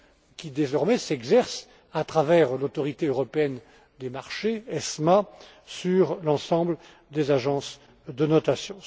qui, désormais, s'exerce à travers l'autorité européenne des marchés sur l'ensemble des agences de notations.